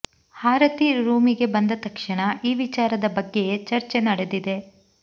ಹಾರತಿ ರೂಮಿಗೆ ಬಂದ ತಕ್ಷಣ ಈ ವಿಚಾರದ ಬಗ್ಗೆಯೇ ಚರ್ಚೆ ನಡೆದಿದೆ